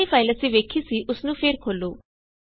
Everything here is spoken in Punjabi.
ਜਿਹੜੀ ਫਾਇਲ ਅਸੀਂ ਵੇਖੀ ਸੀ ਓਸ ਨੂੰ ਫੇਰ ਖੋਲੋ